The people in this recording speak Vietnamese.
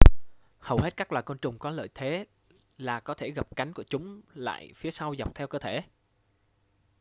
hầu hết các loài côn trùng có lợi thế là có thể gập cánh của chúng lại phía sau dọc theo cơ thể